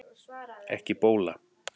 Ekki bóla